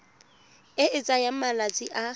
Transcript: e e tsayang malatsi a